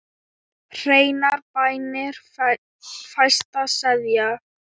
Hreinar bænir fæsta seðja.